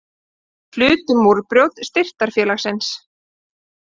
Hlutu Múrbrjót Styrktarfélagsins